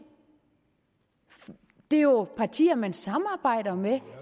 det er jo partier man samarbejder med